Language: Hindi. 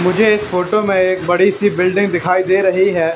मुझे इस फोटो में एक बड़ी सी बिल्डिंग दिखाई दे रही है।